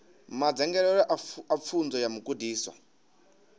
madzangalelo a pfunzo a mugudiswa